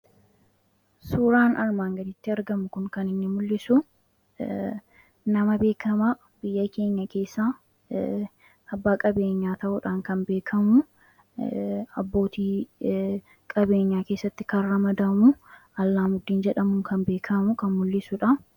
Suuraan armaan gaditti argamu kun kaninni mul'isu nama beekamaa biyya keenya keessa abbaa qabeenyaa ta'uudhaan kan beekamu abbooti qabeenyaa keessatti kana ramadamu Alaamuddiin jedhamuu kan beekamu kan mul'isuudha.